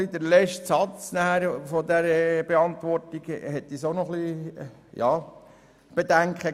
Der letzte Satz der Antwort hat uns auch zu denken gegeben.